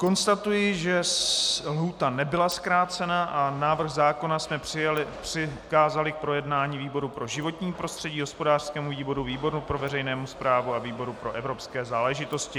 Konstatuji, že lhůta nebyla zkrácena a návrh zákona jsme přikázali k projednání výboru pro životní prostředí, hospodářskému výboru, výboru pro veřejnou správu a výboru pro evropské záležitosti.